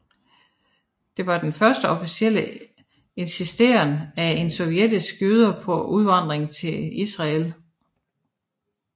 Det var den første offentlige insisteren af sovjetiske jøder på udvandring til Israel